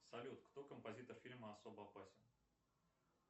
салют кто композитор фильма особо опасен